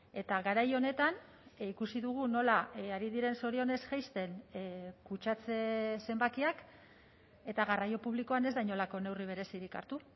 eta garai honetan ikusi dugu nola ari diren zorionez jaisten kutsatze zenbakiak eta garraio publikoan ez da inolako neurri berezirik hartu